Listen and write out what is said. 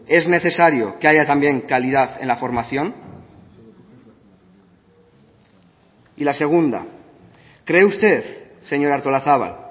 es necesario que haya también calidad en la formación y la segunda cree usted señora artolazabal